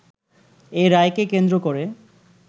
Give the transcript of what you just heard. এ রায়কে কেন্দ্র করে